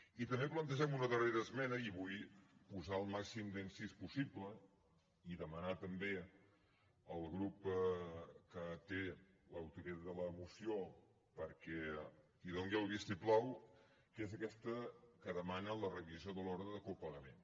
i també plantegem una darrera esmena i hi vull posar el màxim d’incís possible i demanar també al grup que té l’autoria de la moció que hi doni el vistiplau que és aquesta que demana la revisió de l’ordre de copagament